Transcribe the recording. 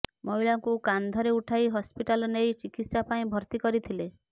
ମହିଳାଙ୍କୁ କାନ୍ଧରେ ଉଠାଇ ହସ୍ପିଟାଲ ନେଇ ଚିକିତ୍ସା ପାଇଁ ଭର୍ତ୍ତି କରିଥିଲେ